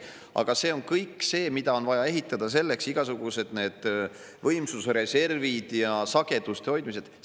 Aga seda kõike on vaja selleks ehitada: igasugused võimsuse reservid ja sageduste hoidmised.